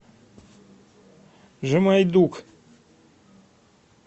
жемайдук